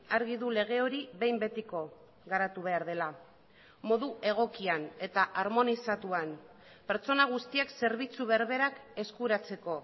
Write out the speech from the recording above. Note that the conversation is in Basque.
argi du lege hori behin betiko garatu behar dela modu egokian eta harmonizatuan pertsona guztiek zerbitzu berberak eskuratzeko